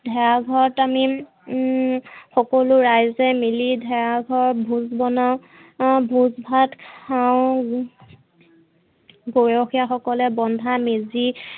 ভেলাঘৰত আমি হম সকলো ৰাইজে মিলি ভেলাঘৰত ভোজ বনাওঁ। ভোজ ভাত খাওঁ গৰখীয়া বন্ধা মেজি